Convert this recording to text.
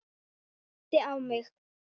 Æpti á mig.